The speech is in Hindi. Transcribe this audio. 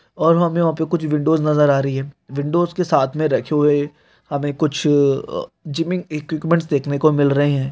और हमें वहा पे कुछ विंडोस नजर आ रही है विंडोज के साथ में रखे हुए हमें कुछ जिव्बिंग एकुप्मेन्ट देखने को मिल रहे है।